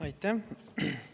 Aitäh!